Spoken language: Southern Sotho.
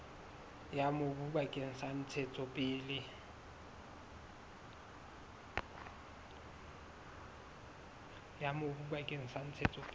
ya mobu bakeng sa ntshetsopele